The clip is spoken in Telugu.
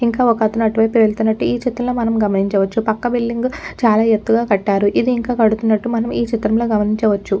ఇంకా ఒక్కతను అటువైపే వెళ్తున్నట్లు ఈ చిత్రంలో మనం గమనించవచ్చుపక్క బిల్డింగ్ చాలా ఎత్తుగా కట్టారుఇది ఇంకా కడుతున్నట్లు మనం ఈ చిత్రంలో గమనించచ్చు.